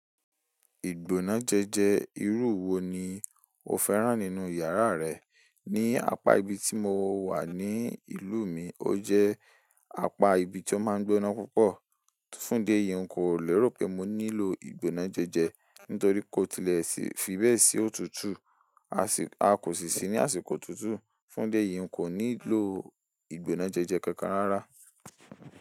Ìgbóná jẹjẹ irú wo ni o fẹ́ràn nínú yàrá rẹ? Ni apa ibi tí mo wà ní ìlú mi ó jẹ́ apa ibi tí ó máa ń gbóná púpọ̀. Fún idi eyi, n kò lérò pé mo nílò ìgbóná jẹjẹ nítorí kò tilẹ̀ sí fi bẹ́ẹ̀ sí òtútù. A kò sì sí ní àsìkò òtútù. Fún dé yi, n kò nílò ìgbóná jẹjẹ kankan rárá.